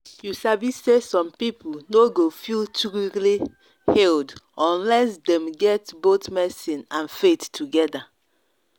you sabi say some people no go feel truly healed unless dem get both medicine and faith together.